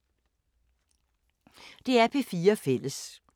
DR P4 Fælles